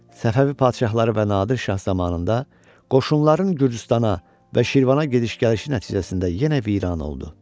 Səfəvi padşahları və Nadir şah zamanında qoşunların Gürcüstana və Şirvana gediş-gəlişi nəticəsində yenə viran oldu.